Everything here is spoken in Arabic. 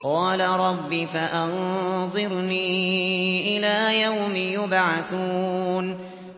قَالَ رَبِّ فَأَنظِرْنِي إِلَىٰ يَوْمِ يُبْعَثُونَ